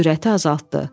Sürəti azaltdı.